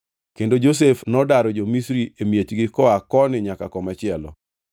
kendo Josef nodaro jo-Misri e miechgi koa koni nyaka komachielo.